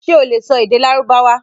Ṣé o lè sọ èdè Lárúbáwá?